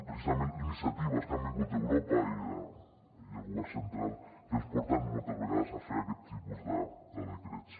precisament iniciatives que han vingut d’europa i del govern central que ens porten moltes vegades a fer aquest tipus de decrets